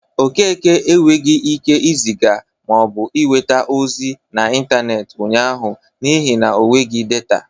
Okeke enwegi ike ịzịga ma ọ bụ nweta ozi n'intaneeti ụnyaahụ n'ihi na o nweghi data.